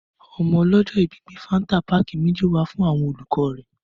Ọmọ ọlọjọ ìbí gbe fàńtà pàkí méjì wà fún àwon òlúkọ rẹ